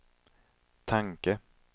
tanke